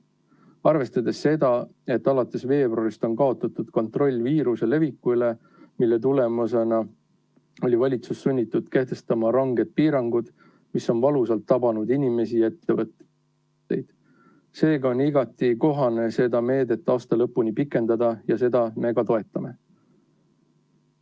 Arvestades seda, et alates veebruarist on kaotatud kontroll viiruse leviku üle, mille tulemusena oli valitsus sunnitud kehtestama ranged piirangud, mis on valusalt tabanud inimesi ja ettevõtteid, on igati kohane seda meedet aasta lõpuni pikendada ja seda me ka toetame.